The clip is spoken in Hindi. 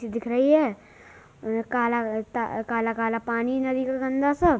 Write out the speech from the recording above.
दिख रही है। काला ट काला-काला पानी नदी का गंदा सा --